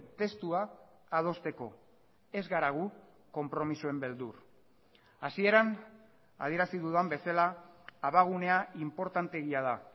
testua adosteko ez gara gu konpromisoen beldur hasieran adierazi dudan bezala abagunea inportanteegia da